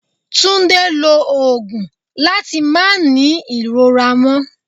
Túndé lo òògùn láti máa ní ìrora mo